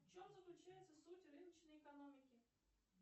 в чем заключается суть рыночной экономики